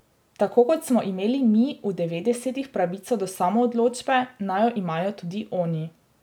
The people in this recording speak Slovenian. Tako kot smo imeli mi v devetdesetih pravico do samoodločbe naj jo imajo tudi oni.